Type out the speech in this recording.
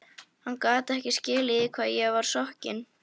Hann gat ekki skilið í hvað ég var sokkin.